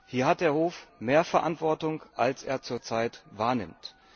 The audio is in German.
Hier hat der Hof mehr Verantwortung, als er zur Zeit wahrnimmt.